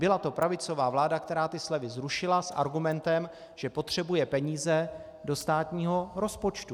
Byla to pravicová vláda, která ty slevy zrušila s argumentem, že potřebuje peníze do státního rozpočtu.